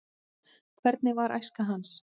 hvernig var æska hans